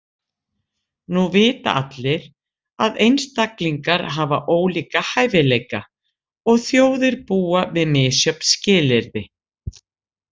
Nú vita allir, að einstaklingar hafa ólíka hæfileika, og þjóðir búa við misjöfn skilyrði.